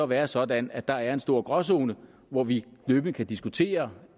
være sådan at der er en stor gråzone hvor vi løbende kan diskutere